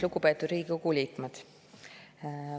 Lugupeetud Riigikogu liikmed!